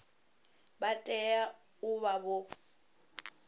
vha tea u vha vho